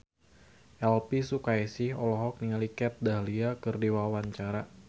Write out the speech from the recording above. Elvy Sukaesih olohok ningali Kat Dahlia keur diwawancara